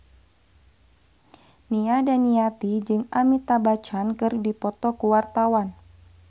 Nia Daniati jeung Amitabh Bachchan keur dipoto ku wartawan